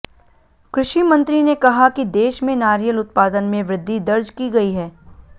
कृषि मंत्री ने कहा कि देश मे नारियल उत्पादन मे वृद्धि दर्ज की गई है